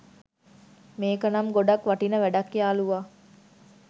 මේකනම් ගොඩක් වටින වැඩක් යාළුවා!